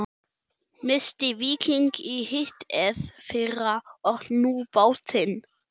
Missti Víking í hitteðfyrra og nú bátinn.